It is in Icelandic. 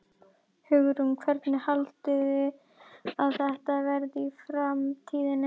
Hugrún: Hvernig haldið þið að þetta verði í framtíðinni?